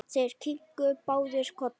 Þeir kinkuðu báðir kolli.